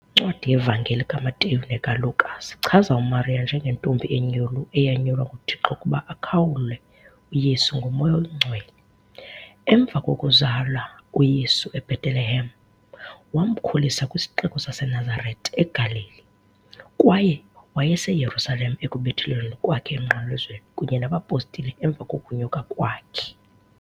Incwadi yevangeli kaMateyu nekaLuka zichaza uMariya njengentombi enyulu eyanyulwa nguThixo ukuba akhawule uYesu ngoMoya Oyingcwele . Emva kokuzala uYesu eBhetelehem, wamkhulisa kwisixeko saseNazarete eGalili, kwaye wayeseYerusalem ekubethelelweni kwakhe emnqamlezweni kunye nabapostile emva kokunyuka kwakhe.